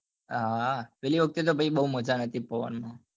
હા હા પેલી વખતે ભાઈ તો બઉ મજા નતી પવન માં